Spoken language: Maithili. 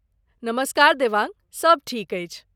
नमस्कार देवांग ! सभ ठीक अछि।